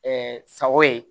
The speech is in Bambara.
sago ye